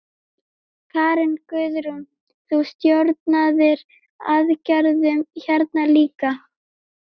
Karen: Guðrún, þú stjórnaðir aðgerðum hérna líka?